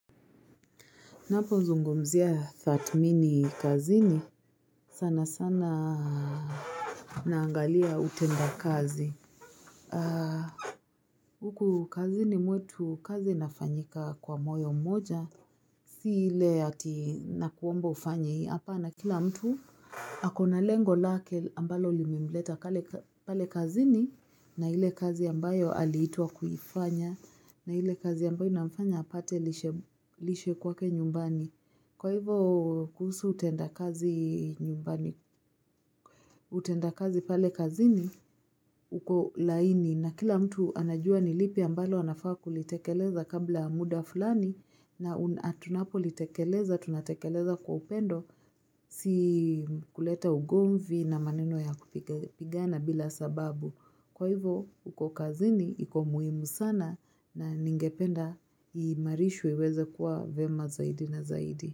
Ninapozungumzia thatmini kazini sana sana naangalia utenda kazi Huku kazini mwetu kazi inafanyika kwa moyo moja si ile ati nakuomba ufanye hapana kila mtu ako na lengo lake ambalo limemleta pale kazini na ile kazi ambayo aliitwa kuifanya na ile kazi ambayo inafanya apate lishe kwake nyumbani. Kwa hivyo kuhusu utenda kazi nyumbani, utenda kazi pale kazini uko laini na kila mtu anajua ni lipi ambalo anafaa kulitekeleza kabla ya muda fulani na tunapo litekeleza, tunatekeleza kwa upendo. Si kuleta ugomvi na maneno ya kupigana bila sababu Kwa hivyo, huko kazini, iko muimu sana na ningependa, iimarishwe iweze kuwa vema zaidi na zaidi.